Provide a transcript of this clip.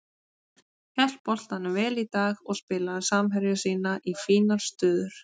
Hélt boltanum vel í dag og spilaði samherja sína í fínar stöður.